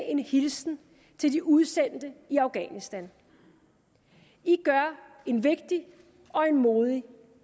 en hilsen til de udsendte i afghanistan i gør en vigtig og modig